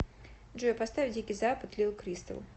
джой поставь дикий запад лил кристал